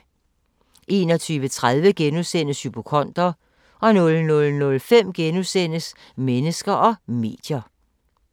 21:30: Hypokonder * 00:05: Mennesker og medier *